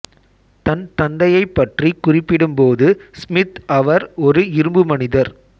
தன் தந்தையைப் பற்றிக் குறிப்பிடும் போது ஸ்மித் அவர் ஒரு இரும்பு மனிதர்